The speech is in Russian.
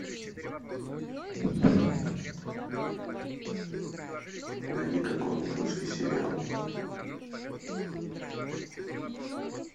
найди какой нибудь русский сериал